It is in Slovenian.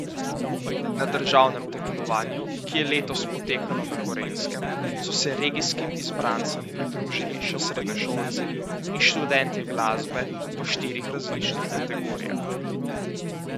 Na državnem tekmovanju, ki je letos potekalo na Gorenjskem, so se regijskim izbrancem pridružili še srednješolci in študentje glasbe v štirih različnih kategorijah.